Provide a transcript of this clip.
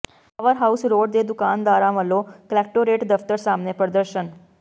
power house road ਦੇ ਦੁਕਾਨਦਾਰਾਂ ਵੱਲੋਂ ਕਲੈਕਟੋਰੇਟ ਦਫ਼ਤਰ ਸਾਹਮਣੇ ਪ੍ਰਦਰਸ਼ਨ